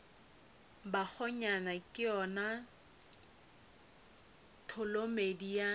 bakgonyana ke yona tholomedi ya